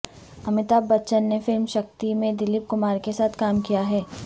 امیتابھ بچن نے فلم شکتی میں دلیپ کمار کے ساتھ کام کیا ہے